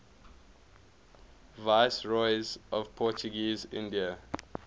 viceroys of portuguese india